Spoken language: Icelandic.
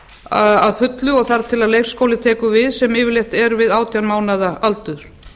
að fullu og þar til leikskóli tekur við sem yfirleitt er við átján mánaða aldur